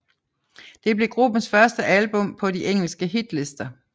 Det blev gruppens første album på de engelske hitlister